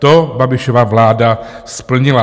To Babišova vláda splnila.